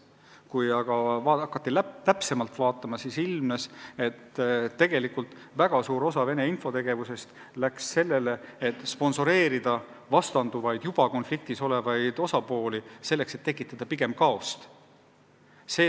Kui aga hakati täpsemalt analüüsima, siis ilmnes, et tegelikult väga suur osa Venemaa infotegevusest oli suunatud sellele, et sponsoreerida vastanduvaid juba konfliktis olevaid osapooli lihtsalt selleks, et tekitada kaost.